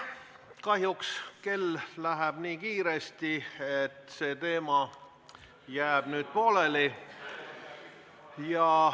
Kahjuks läheb kell nii kiiresti, et see teema jääb nüüd pooleli.